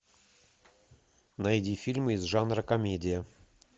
найди фильмы из жанра комедия